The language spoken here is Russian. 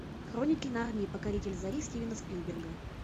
хроники нарнии покоритель зари стивена спилберга